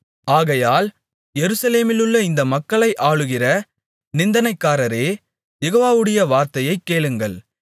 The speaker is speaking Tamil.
ஆகையால் எருசலேமிலுள்ள இந்தமக்களை ஆளுகிற நிந்தனைக்காரரே யெகோவாவுடைய வார்த்தையைக் கேளுங்கள்